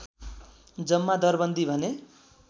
जम्मा दरबन्दी भने